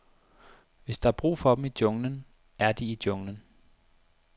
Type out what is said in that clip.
Hvis der er brug for dem i junglen, er de i junglen.